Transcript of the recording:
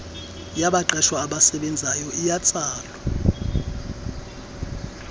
yabaqeshwa abasebenzayo iyatsalwa